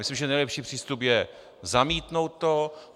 Myslím, že nejlepší přístup je zamítnout to.